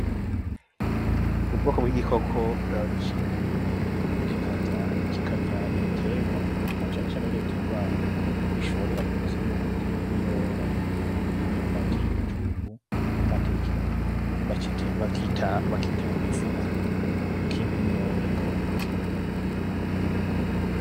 Ubwoko bw'igikoko cimba imyobo kikarya ibiterwa, na cane cane bino biterwa bishorera mu kuzimu, harimwo ibiyoba, imyumbati, ibijumbu, n'amateke. Bakita Ifuku, kimba imyobo, kaba mu kuzimu.